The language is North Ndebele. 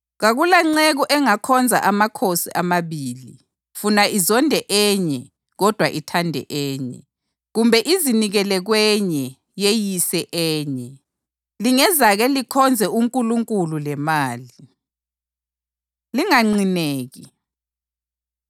Kakulanceku engakhonza amakhosi amabili. Funa izonde enye kodwa ithande enye, kumbe izinikele kwenye yeyise enye. Lingezake likhonze uNkulunkulu lemali.” Linganqineki